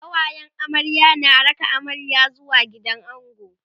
kawayen amarya na raka amarya zuwa gidan ango